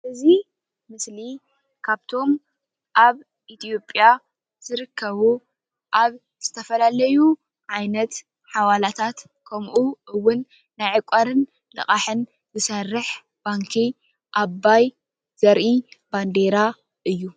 እዚ ምስሊ ካብቶም ኣብ ኢትዮጵያ ዝርከቡ ኣብ ዝተፈላለዩ ዓይነት ሓዋላታት ከምኡ እውን ናይ ዕቋርን ልቓሕን ዝሰርሕ ባንኪ ኣባይ ዘርኢ ባንዴራ እዩ።